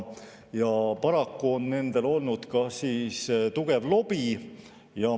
Paraku on nendel olnud ka tugev lobi.